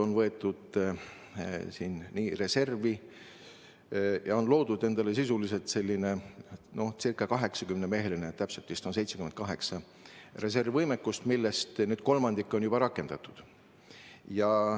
On appi võetud reservi ja on loodud sisuliselt selline ca 80-meheline – täpselt on neid mehi 78 – reservivõimekus, millest kolmandik on juba rakendatud.